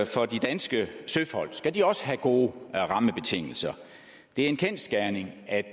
for de danske søfolk skal de også have gode rammebetingelser det er en kendsgerning at